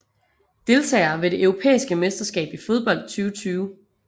Deltagere ved det europæiske mesterskab i fodbold 2020